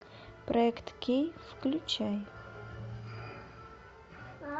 проект кей включай